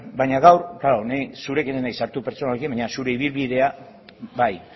bueno baina gaur ni zurekin ez naiz sartu pertsonalki baina zure ibilbidea bai